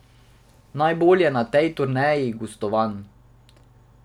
Najbolje na tej turneji gostovanj.